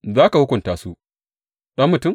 Za ka hukunta su, ɗan mutum?